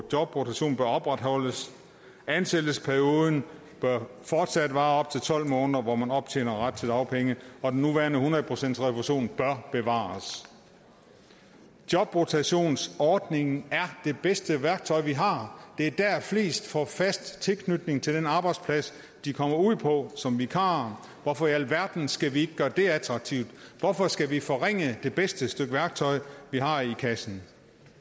jobrotation bør opretholdes ansættelsesperioden bør fortsat være op til tolv måneder hvor man optjener ret til dagpenge og den nuværende hundrede procentsrefusion bør bevares jobrotationsordningen er det bedste værktøj vi har det er der at flest får fast tilknytning til den arbejdsplads de kommer ud på som vikarer hvorfor i alverden skal vi ikke gøre det attraktivt hvorfor skal vi forringe det bedste stykke værktøj vi har i kassen